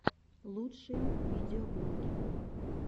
лучшие видеоблоги